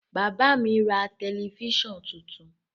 Bàbá mi ra tẹlifíṣàn tuntun.